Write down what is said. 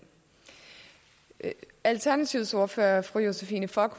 alternativets ordfører fru josephine fock